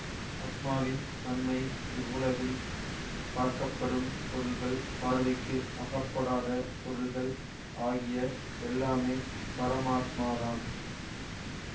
ஆத்மவின் தன்மை இவ்வுலகில் பார்க்கப்படும் பொருள்கள் பார்வைக்கு அகப்படாத பொருள்கள் ஆகிய எல்லாமே பரமாத்மாதான்